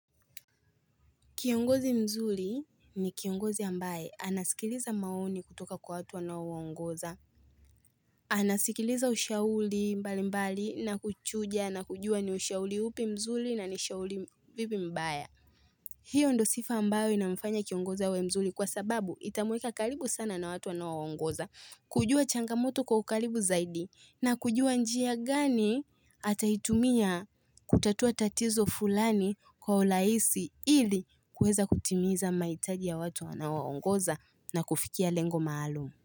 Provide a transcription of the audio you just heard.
Kiongozi mzuli ni kiongozi ambaye anasikiliza maoni kutoka kwa watu anawo ongoza. Anasikiliza ushauli mbali mbali na kuchuja na kujua ni ushauli upi mzuli na nishauli vipi mbaya. Hiyo ndo sifa ambayo inamfanya kiongozi awe mzuli kwa sababu itamweka kalibu sana na watu anawo ongoza. Kujua changamoto kwa ukalibu zaidi na kujua njia gani ataitumia kutatua tatizo fulani kwa ulaisi ili kueza kutimiza mahitaji ya watu anaowaongoza na kufikia lengo maalum.